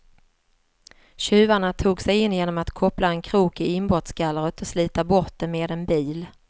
Tjuvarna tog sig in genom att koppla en krok i inbrottsgallret och slita bort det med en bil.